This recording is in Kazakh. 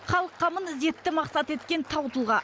халық қамын ізетті мақсаты еткен тау тұлға